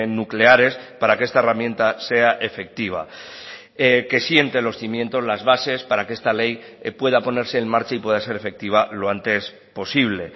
nucleares para que esta herramienta sea efectiva que siente los cimientos las bases para que esta ley pueda ponerse en marcha y pueda ser efectiva lo antes posible